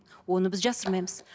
оны біз жасырмаймыз